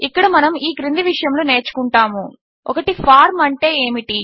ఇక్కడ మనము ఈ క్రింది విషయములు నేర్చుకుంటాము 1ఫార్మ్ అంటే ఏమిటి